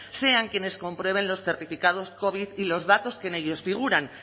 sean quienes comprueben los certificados covid y los datos que en ellos figuran